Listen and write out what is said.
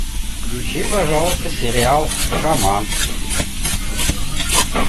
включи пожалуйста сериал шаман